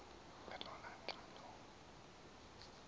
elona xa loku